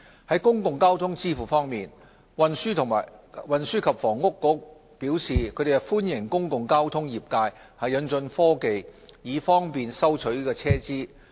就公共交通支付方面，運輸及房屋局表示歡迎公共交通業界引進科技，以方便收取車資。